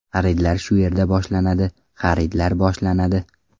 Xaridlar shu yerda boshlanadi, xaridlar boshlanadi.